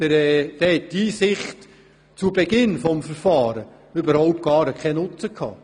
Die Einsicht zu Beginn des Verfahrens hat dann überhaupt keinen Nutzen gehabt.